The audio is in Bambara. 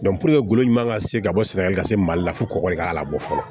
golo ɲuman ka se ka bɔ sɛnɛgali ka se mali la fo kɔgɔ de k'a labɔ fɔlɔ